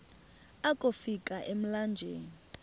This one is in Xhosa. akofi ka emlanjeni